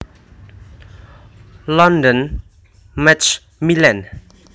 London Macmillan